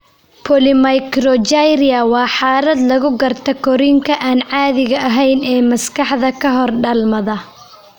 Polymicrogyria waa xaalad lagu garto korriinka aan caadiga ahayn ee maskaxda ka hor dhalmada.